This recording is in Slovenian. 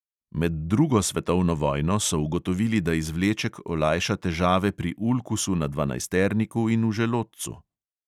Med drugo svetovno vojno so ugotovili, da izvleček olajša težave pri ulkusu na dvanajsterniku in v želodcu.